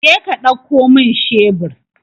Jeka ɗauko min shebur!